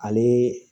Ale